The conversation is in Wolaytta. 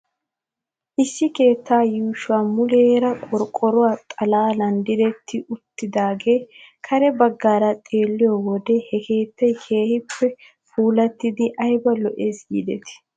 Issi keetta yuushoy muleera qorqqoro xalaalan diretti uttidaagee kare bagaara xeelliyoo wodiyan he keetay keehippe puulattidi ayba lo'es giidetii .